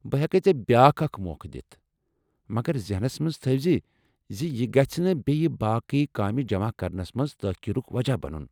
بہٕ ہٮ۪کیہ ژےٚ بیٚاکھ اکھ موقع دِتھ، مگر ذہنس منٛز تھاوِزِ زِ یہ گژھنہٕ بیٚیہ باقی کامہِ جمع کرنَس مَنٛز تٲخیرُک وجہ بنُن۔